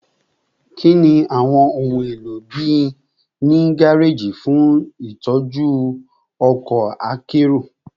Kini awọn ohun elo bii ni gareji fun itọju ọkọ akero?